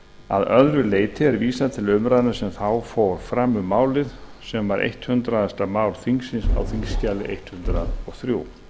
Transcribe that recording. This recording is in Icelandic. að öðru leyti er vísað til umræðunnar sem þá fór fram um málið sem var hundrað mál þingsins þingskjal hundrað og þrjú